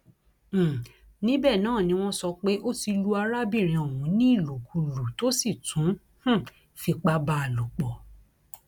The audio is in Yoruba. um níbẹ náà ni wọn sọ pé ó ti lu arábìnrin ọhún ní ìlùkulù tó sì tún um fipá bá a a lòpọ